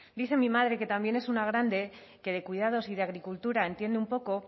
dice mi madre que también es una grande que de cuidados y de agricultura entiende un poco